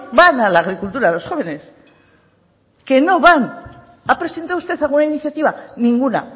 van a la agricultura los jóvenes que no van ha presentado usted alguna iniciativa ninguna